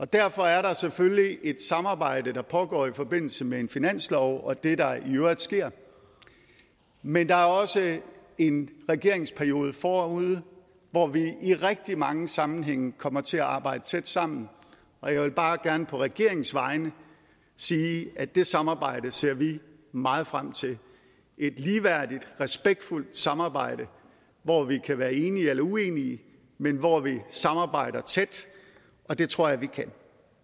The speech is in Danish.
derfor er der selvfølgelig et samarbejde der pågår i forbindelse med en finanslov og det der i øvrigt sker men der er også en regeringsperiode forude hvor vi i rigtig mange sammenhænge kommer til at arbejde tæt sammen og jeg vil bare gerne på regeringens vegne sige at det samarbejde ser vi meget frem til et ligeværdigt respektfuldt samarbejde hvor vi kan være enige eller uenige men hvor vi samarbejder tæt og det tror jeg vi kan